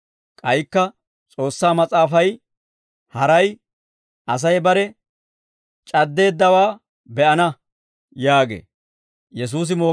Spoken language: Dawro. K'aykka S'oossaa Mas'aafay haray, «Asay bare c'addeeddawaa be'ana» yaagee.